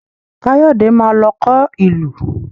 Káyọ̀dé má lọ kọ ìlù